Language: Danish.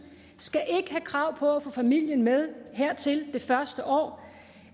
skal ikke have krav på at få familien med hertil det første år